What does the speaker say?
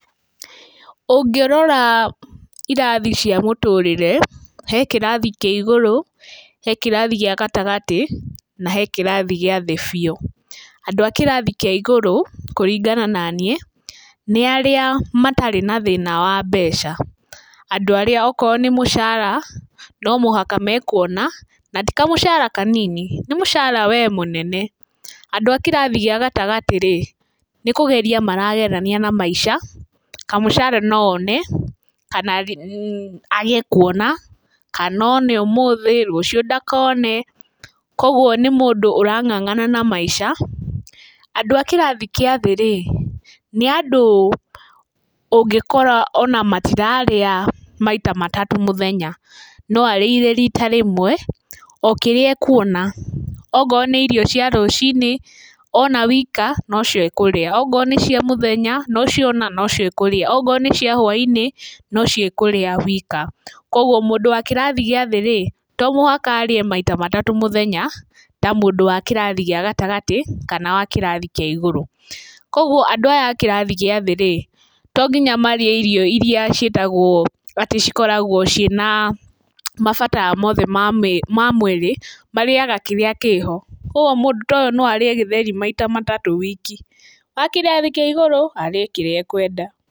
Ũngĩrora irathi cia mũtũrĩre, he kĩrathi kĩa igũrũ, he kĩrathi gĩa gatagatĩ na he kĩrathi gĩa thĩ biũ. Andũ a kĩrathi kĩa igũrũ kũringana na niĩ nĩ arĩa matarĩ na thĩna wa mbeca, andũ arĩa oko nĩ mũcara no mũhaka mekũona, na ti kamũcara kanini, nĩ mũcara we mũnene. Andũ a kĩrathi gĩa gatagatĩ rĩ, nĩ kũgeria maragerania na maica, kamũcara no one, kana age kũona kana one ũmũthĩ, rũciũ ndakone, koguo nĩ mũndũ ũrang'ang'ana na maica. Andũ a kĩrathi gĩa thĩ rĩ, nĩ andũ ũngĩkora o na matirarĩa maita matatũ mũthenya, no arĩire rita rĩmwe o kĩrĩe ekuona, ongo nĩ irio cia rũcinĩ ona wika no cio ekũrĩa, ongo nĩ cia mũthenya nocio ona nocio ekũrĩa, ongo nĩ cia hwa-inĩ nocio ekũrĩa wika, koguo mũndũ wa kĩrathi gĩa thĩ rĩ, to mũhaka arĩe maita matatũ mũthenya ta mũndũ wa kĩrathi gĩa gatagatĩ kana wa kĩrathi kĩa igũrũ, koguo andũ aya a kĩrathi gĩa thĩ rĩ tonginya marĩe irio iria ciĩtagwo atĩ cikoragwo ciĩna mabatara mothe ma mwĩrĩ, marĩaga kĩrĩa kĩho, koguo mũndũ ũyũ no arĩe gĩtheri maita matatũ wiki. A kĩrathi kĩa igũrũ arĩe kĩrĩe ekũenda.